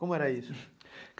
Como era isso?